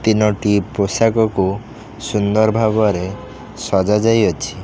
ତିନୋଟି ପୋଷକକୁ ସୁନ୍ଦର ଭାବରେ ସଜା ଯାଇଅଛି।